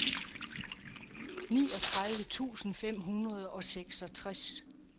niogtredive tusind fem hundrede og seksogtres